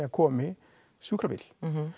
komi sjúkrabíll